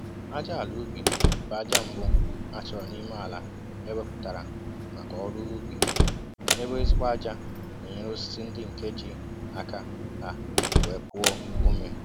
Ájá àlà ubi bụ ájá mbụ a chọrọ n'ime àlà eweputara maka ọrụ ubi, ébé ezigbo ájá n'enyere osisi ndị nke jì aka ha wéé puo ome